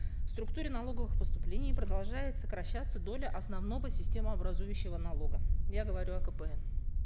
в структуре налоговых поступлений продолжает сокращаться доля основного системообразующего налога я говорю о кпн